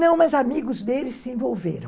Não, mas amigos deles se envolveram.